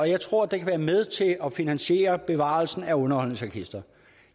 jeg tror det kan være med til at finansiere bevarelsen af underholdningsorkestret